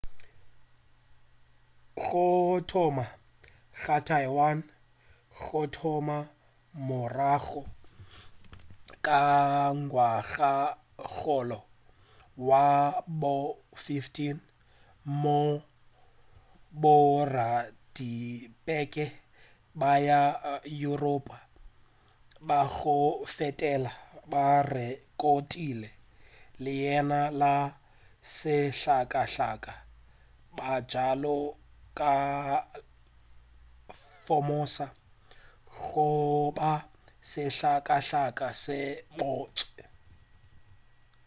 go thoma ga taiwan go thoma morago ka ngwagakgolo wa bo 15 moo boradikepe ba ma-yuropa ba go feta ba rekotile leina la sehlakahlaka bjalo ka ilha formosa goba sehlakahlaka se sebotse